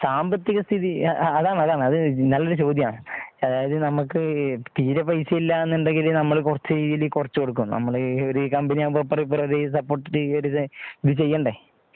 സാമ്പത്തിക സ്ഥിതി അതാണ് അതാണ് അതു നല്ല ഒരു ചോദ്യം ആണ് അതായിത് നമുക്ക് തീരെ പൈസ ഇല്ലന്നുണ്ടെങ്കില് കുറച്ച് രീതിയിൽ കുറച്ച് കൊടുക്കും നമ്മൾ ഒരു കമ്പനി ആകുമ്പോ അപ്പുറവും ഇപ്പുറവും ഒരു സപോർട്ട് ഇട്ട് ഇത് ചെയ്യാൻടെ